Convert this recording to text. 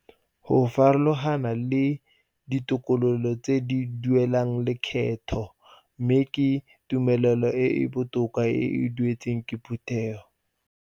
Go farologana le ditokololo tse di duelang lekgetho mme ke tumelo e e botoka e e dumetsweng ke Phuthego.